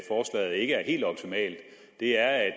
helt optimalt er